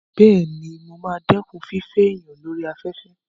Bẹ́ẹ̀ni, mo ma dẹ́kun fífẹ́ èèyàn lórí afẹ́fẹ́